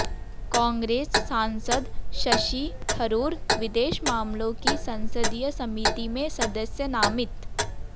कांग्रेस सांसद शशि थरूर विदेश मामलों की संसदीय समिति में सदस्य नामित